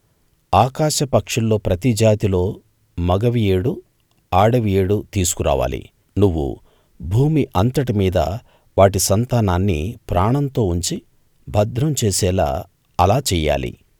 ఆకాశపక్షుల్లో ప్రతి జాతిలో మగవి ఏడు ఆడవి ఏడు తీసుకురావాలి నువ్వు భూమి అంతటిమీద వాటి సంతానాన్ని ప్రాణంతో ఉంచి భద్రం చేసేలా అలా చెయ్యాలి